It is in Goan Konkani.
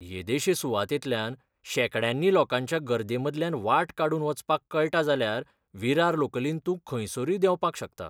येदेशे सुवातेंतल्यान शेंकड्यांनी लोकांच्या गर्देमदल्यान वाट काडून वचपाक कळटा जाल्यार विरार लोकलींत तूं खंयसरूय देंवपाक शकता.